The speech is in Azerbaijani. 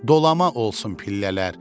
Dolama olsun pillələr,